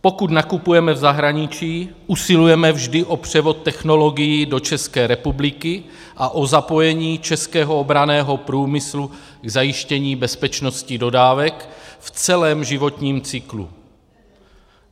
Pokud nakupujeme v zahraničí, usilujeme vždy o převod technologií do České republiky a o zapojení českého obranného průmyslu k zajištění bezpečnosti dodávek v celém životním cyklu.